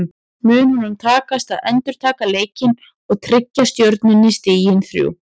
Mun honum takast að endurtaka leikinn og tryggja Stjörnunni stigin þrjú?